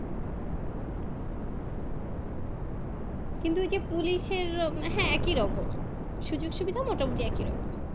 কিন্তু ওই যে Police এর উম হ্যাঁ একইরকম সুযোগসুবিধা মোটামুটি একইরকম